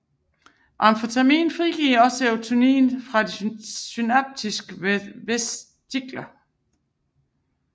Amfetamin frigiver også serotonin fra synaptiske vesikler